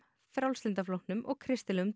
Frjálslynda flokknum og kristilegum